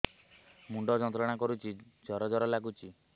ମୁଣ୍ଡ ଯନ୍ତ୍ରଣା କରୁଛି ଜର ଜର ଲାଗୁଛି